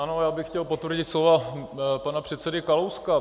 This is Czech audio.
Ano, já bych chtěl potvrdit slova pana předsedy Kalouska.